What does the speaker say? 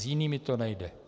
S jinými to nejde.